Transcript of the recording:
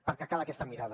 perquè cal aquesta mirada